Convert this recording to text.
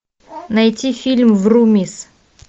найти фильм врумиз